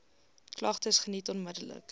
klagtes geniet onmiddellik